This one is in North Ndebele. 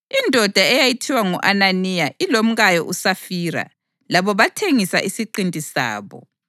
Indoda eyayithiwa ngu-Ananiya ilomkayo uSafira labo bathengisa isiqinti sabo.